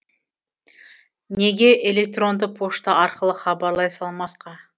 неге электронды пошта арқылы хабарлай салмасқа